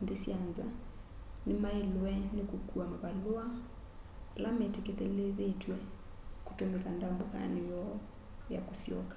nthĩ sya nza nĩmaĩlwe nĩ kũkũa mavalũa ala metĩkĩlĩthĩtw'e kũtũmĩka ndambũkanĩ yoo ya kũsyoka